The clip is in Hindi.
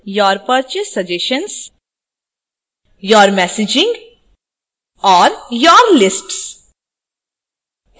your purchase suggestions your messaging और your lists